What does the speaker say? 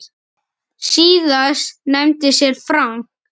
Síðast nefndi séra Frank